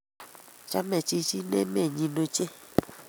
Chame chichin emenyi ochei